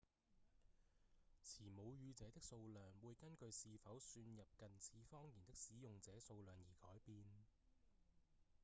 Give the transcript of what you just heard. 持母語者的數量會根據是否算入近似方言的使用者數量而改變